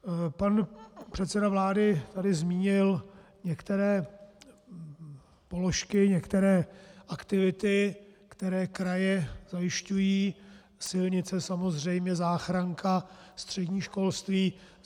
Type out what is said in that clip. Pan předseda vlády tady zmínil některé položky, některé aktivity, které kraje zajišťují - silnice, samozřejmě záchranka, střední školství.